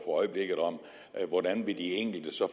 øjeblikket om hvordan de enkelte så